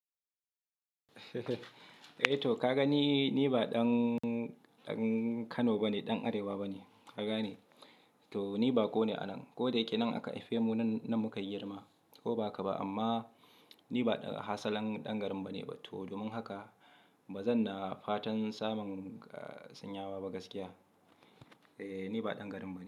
Eh to ka ga ni, ni ba ɗan, ɗan Kano bane, ɗan Arewa bane. Ka gane. To ni bako ne a nan. Ko dayake nan aka haife mu nan, muka girma. Ko ba haka ba, amma ni ba ɗan asalin ɗan garin bane. To domin haka ba zan na fatan samun sanyawa ba gaskiya. Eh ni ba ɗan garin bane.